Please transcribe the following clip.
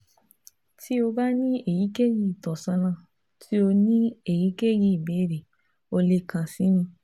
Ti o ba ni eyikeyi itọnisọna ti o ni eyikeyi ibeere o le kan si mi